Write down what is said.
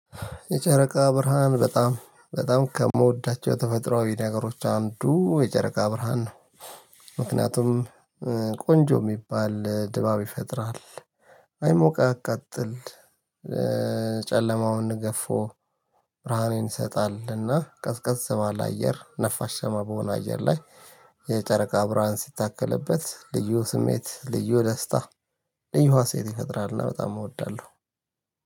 የጨረቃ ብርሃን በጣም በጣም ከምወዳቸው ተፈጥሮአዊ ነገሮች አንዱ የጨረቃ ብርሃን ነው። ምክንያቱም ቆንጆ የሚባል ድባብ ይፈጥራል አይሞቅ አቃጥል። ጨለማውን ገፎ ብርሃኔን እንሰጣለን እና ቀስ ቀስ ባለ አየር ነፋሻማ በሆነ አየር ላይ። የጨረቃ አብራን ሲታከልበት ልዩ ስሜት ልዩ ደስታ ልዩ ሃሴት ይፈጥራልና በጣም እወዳለሁ።